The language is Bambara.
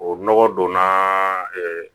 O nɔgɔ donna